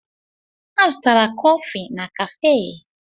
A zụtara kọfị na káfé